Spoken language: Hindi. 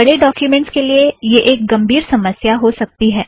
बड़े ड़ॉक्यूमेंटज़ के लिए यह एक गमबीर समस्या हो सकती है